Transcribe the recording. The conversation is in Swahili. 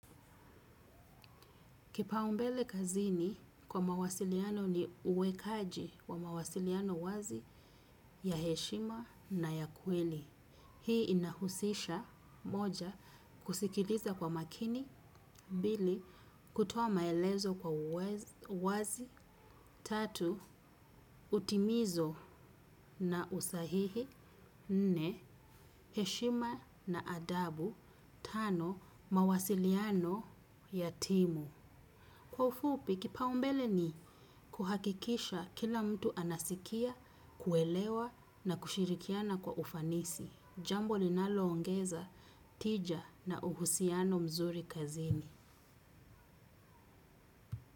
Kipaumbele kazini kwa mawasiliano ni uwekaji wa mawasiliano wazi ya heshima na ya kweli. Hii inahusisha moja kusikiliza kwa makini, mbili, kutoa maelezo kwa uwazi, tatu, utimizo na usahihi, nne, heshima na adabu, tano, mawasiliano ya timu. Kwa ufupi, kipaumbele ni kuhakikisha kila mtu anasikia, kuelewa na kushirikiana kwa ufanisi. Jambo linaloongeza tija na uhusiano mzuri kazini.